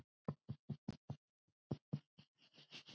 Hverjar eru þessar slóðir?